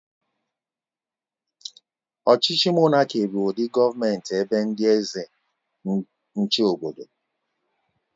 Ọchịchị monáki bụ ụdị gọọmenti ebe ndị eze n'chi obodo